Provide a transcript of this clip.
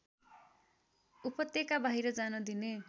उपत्यकाबाहिर जान दिने